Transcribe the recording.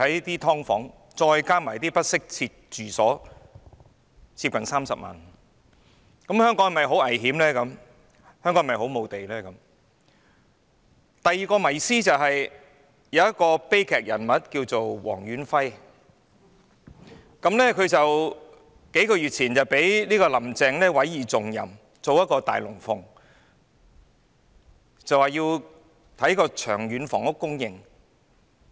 第二個迷思，是一個名為黃遠輝的悲劇人物。他在數月前獲"林鄭"委以重任，上演一齣"大龍鳳"，研究長遠房屋供應。